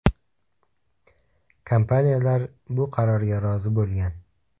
Kompaniyalar bu qarorga rozi bo‘lgan.